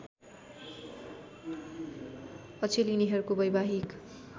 अचेल यिनीहरूको वैवाहिक